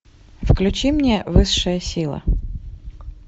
включи мне высшая сила